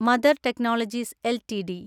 mother technologies LTD